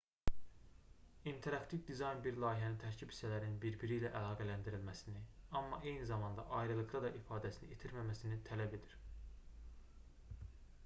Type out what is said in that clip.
i̇nteraktiv dizayn bir layihənin tərkib hissələrinin bir-biri ilə əlaqələndirilməsini amma eyni zamanda ayrılıqda da ifadəsini itirməməsini tələb edir